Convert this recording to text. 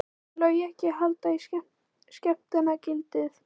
Mun Logi ekki halda í skemmtanagildið?